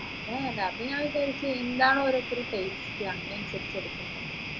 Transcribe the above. അതാ ഞാൻ വിചാരിച്ചേ എന്താണ് ഓരോരുത്തരെ taste അങ്ങനെ എടുക്കട്ടെ